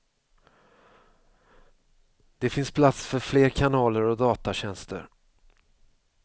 Det finns plats för fler kanaler och datatjänster.